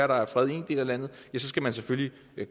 der er fred i en del af landet ja så skal man selvfølgelig